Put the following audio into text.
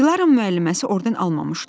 Dilaranın müəlliməsi orden almamışdı.